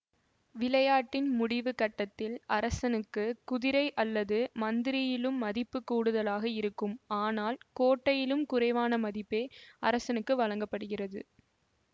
விளையாட்டின் முடிவுக் கட்டத்தில் அரசனுக்கு குதிரை அல்லது மந்திரியிலும் மதிப்பு கூடுதலாக இருக்கும் ஆனால் கோட்டையிலும் குறைவான மதிப்பே அரசனுக்கு வழங்க படுகிறது